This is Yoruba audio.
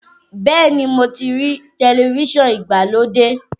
Bẹ́ẹ̀ ni, mo ti rí tẹlifíṣọ̀n ìgbàlódé.